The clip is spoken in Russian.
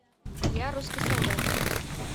я русский солдат